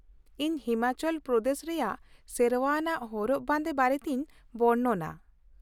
ᱤᱧ ᱦᱤᱢᱟᱪᱚᱞ ᱯᱨᱚᱫᱮᱥ ᱨᱮᱭᱟᱜ ᱥᱮᱨᱶᱟ ᱟᱱᱟᱜ ᱦᱚᱨᱚᱜ ᱵᱟᱸᱫᱮ ᱵᱟᱨᱮᱛᱤᱧ ᱵᱚᱨᱱᱚᱱᱟ ᱾